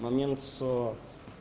момент с